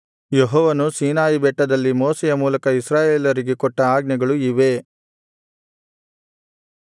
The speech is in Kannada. ಯೆಹೋವನು ಸೀನಾಯಿ ಬೆಟ್ಟದಲ್ಲಿ ಮೋಶೆಯ ಮೂಲಕ ಇಸ್ರಾಯೇಲರಿಗೆ ಕೊಟ್ಟ ಆಜ್ಞೆಗಳು ಇವೇ